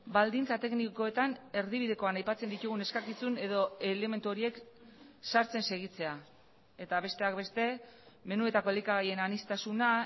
baldintza teknikoetan erdibidekoan aipatzen ditugun eskakizun edo elementu horiek sartzen segitzea eta besteak beste menuetako elikagaien aniztasuna